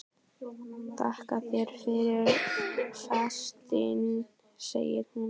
Þakka þér fyrir festina, segir hún.